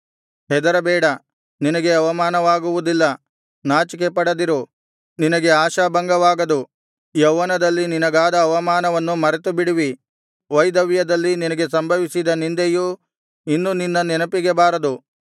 ಹೆದರಬೇಡ ನಿನಗೆ ಅವಮಾನವಾಗುವುದಿಲ್ಲ ನಾಚಿಕೆಪಡದಿರು ನಿನಗೆ ಆಶಾಭಂಗವಾಗದು ಯೌವನದಲ್ಲಿ ನಿನಗಾದ ಅವಮಾನವನ್ನು ಮರೆತುಬಿಡುವಿ ವೈಧವ್ಯದಲ್ಲಿ ನಿನಗೆ ಸಂಭವಿಸಿದ ನಿಂದೆಯು ಇನ್ನು ನಿನ್ನ ನೆನಪಿಗೆ ಬಾರದು